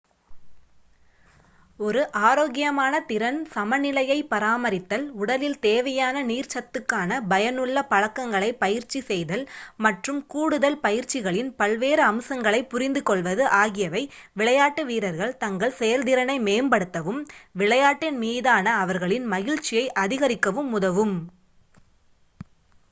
ஒரு ஆரோக்கியமான திறன் சமநிலையைப் பராமரித்தல் உடலில் தேவையான நீர் சத்துக்கான பயனுள்ள பழக்கங்களைப் பயிற்சி செய்தல் மற்றும் கூடுதல் பயிற்சிகளின் பல்வேறு அம்சங்களைப் புரிந்துகொள்வது ஆகியவை விளையாட்டு வீரர்கள் தங்கள் செயல்திறனை மேம்படுத்தவும் விளையாட்டின் மீதான அவர்களின் மகிழ்ச்சியை அதிகரிக்கவும் உதவும்